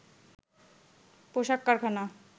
পোশাক কারখানা